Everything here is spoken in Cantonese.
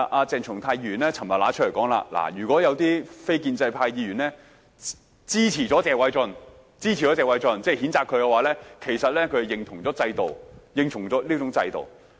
鄭松泰議員昨天說，如果有些非建制派議員支持謝偉俊議員的議案，其實就是認同了這種制度。